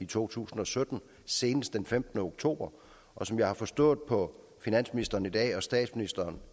to tusind og sytten senest den femtende oktober og som jeg har forstået på finansministeren i dag og statsministeren